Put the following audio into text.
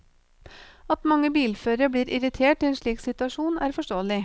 At mange bilførere blir irritert i en slik situasjon, er forståelig.